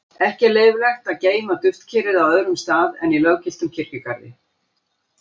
Ekki er leyfilegt að geyma duftkerið á öðrum stað en í löggiltum kirkjugarði.